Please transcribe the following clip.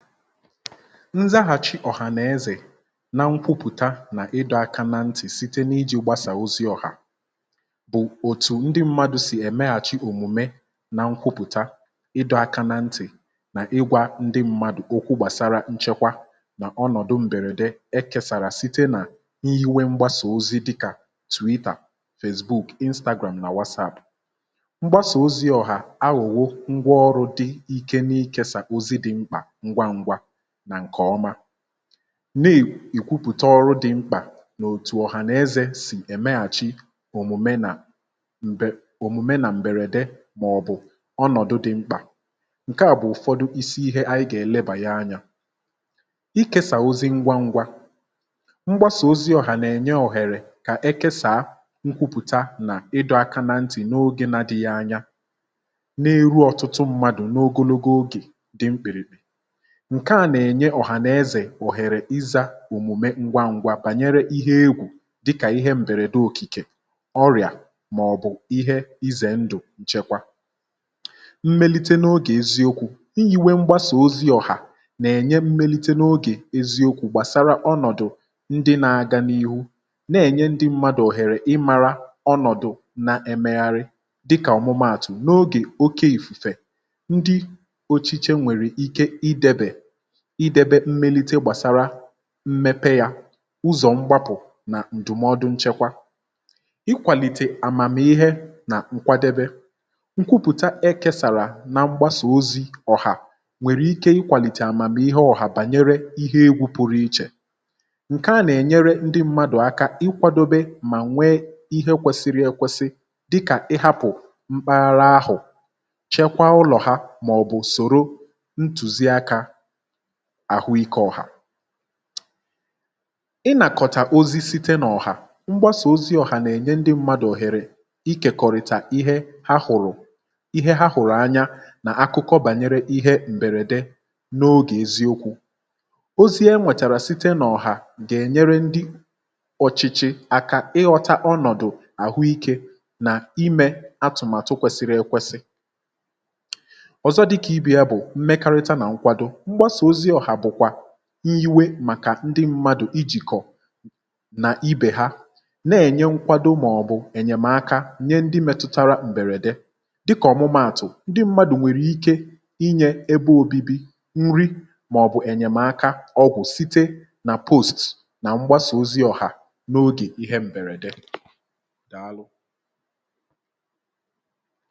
ǹzaghàchì ọ̀hànàezè na nkwupùta nà ịdọ̇aka na ntì site n’iji̇ gbasà ozi ọ̀hà bụ̀ òtù ndị mmadụ̇ sì èmeghàchi òmùme um na nkwupùta ịdọ̇aka na ntì nà ịgwȧ ndị mmadụ̀ okwu gbàsara nchekwa nà ọnọ̀dụ m̀bèrède e kèsàrà site nà iwe mgbasà ozi dịkà twitter, instagram nà wasaȧdụ̀. mgbasà ozi ọ̀hà agụ̀wụ ngwa ọrụ̇ dị ike n’ikėsà ozi dị̇ mkpà um n’ìkwupùta ọrụ dị mkpà n’òtù ọ̀hànàezè sì èmeghàchi òmùme nà m̀bèrède màọ̀bụ̀ ọnọ̀dụ dị mkpà. ǹke à bụ̀ ụ̀fọdụ isi ihe anyị gà-èlebà ya anya ikėsà ozi ngwa ngwa, mgbasà ozi ọ̀hànàènye òhèrè kà ekesàa nkwupùta nà ịdọ̇ aka na ntì n’ogė na dị ya anya um na-eru ọtụtụ mmadụ̀ n’ogologo ogè. ǹke à nà-ènye ọ̀hànàezè òhèrè izȧ òmùme ngwa ngwa pànyere ihe egwù dịkà ihe m̀bèrède òkìkè ọrị̀à mà ọ̀ bụ̀ ihe izè ndụ̀. ǹchekwa mmelite n’ogè eziokwu̇ iyi̇ nwe mgbasà ozi ọ̀hà nà-ènye mmelite n’ogè eziokwu̇ gbàsara ọnọ̀dụ̀ ndị na-agȧ n’ihu na-ènye ndị mmadụ̀ òhèrè ịmara ọnọ̀dụ̀ na ẹmẹgharị dịkà ọ̀mụmaàtụ̀ um n’ogè oke ìfùfè. ndị ochịchẹ nwèrè ike idebè mmelite gbàsara mmepe yȧ ụzọ̀ mgbapụ̀ nà ǹdụ̀mọdụ nchekwa, ikwàlìtè àmàm̀ ihe nà nkwadebe. nkwupùta e kesàrà na mgbasà ozi̇ ọ̀hà nwèrè ike ikwàlìtè àmàm ihe ọ̀hà bànyere ihe egwù pụrụ ichè. ǹke à nà-ènyere ndị mmadụ̀ aka ikwadobe mà nwee ihe kwesiri ekwesi dịkà ịhȧpụ̀ mkpaghara ahụ̀, chekwaa ụlọ̀ ha mà ọ̀ bụ̀ sòro ntùzi akȧ àhụike ọhà. ị nàkọ̀tà ozi site n’ọhà mgbasà ozi ọhà nà-ènye ndị mmadụ̀ òhèrè ikèkọ̀rị̀tà ihe ha hụ̀rụ̀ anya nà akụkọ bànyere ihe m̀bèrède n’ogè eziokwu̇ um. ozie nwètàrà site n’ọhà gà-ènyere ndị ọ̀chịchị àkà ịghọta ọnọ̀dụ àhụike nà imė atụ̀màtụ kwesịrị ekwesị. ọ̀zọ dịkà ibi̇ ya bụ̀ mmekarịta nà nkwado iwe màkà ndị mmadụ̀ ijìkọ̀ nà ibè ha na-ènye nkwado màọ̀bụ̀ ènyèmaka nye ndị mẹtụtara m̀bèrèdè dịkà ọ̀mụmaàtụ̀, ndị mmadụ̀ nwèrè ike inyė ebe obibi, nri màọ̀bụ̀ ènyèmaka ọgwụ̀, site nà post nà mgbasà ozi ọ̀hà n’ogè ihe m̀bèrèdè. dàalụ.